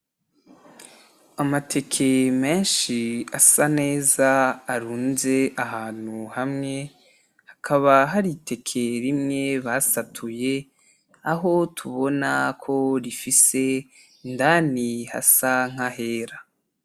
Amateke menshi asa neza arunze ahantu hamwe, hakaba hari iteke rimwe basatuye, aho tubonako rifise indani hasa nahera.